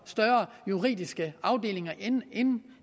større juridiske afdelinger end